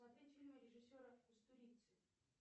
смотреть фильмы режиссера кустурицы